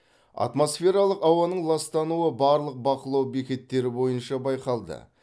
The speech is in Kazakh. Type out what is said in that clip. атмосфералық ауаның ластануы барлық бақылау бекеттері бойынша байқалды